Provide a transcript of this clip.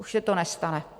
Už se to nestane.